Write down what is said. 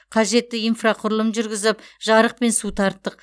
қажетті инфрақұрылым жүргізіп жарық пен су тарттық